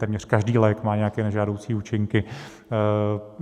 Téměř každý lék má nějaké nežádoucí účinky.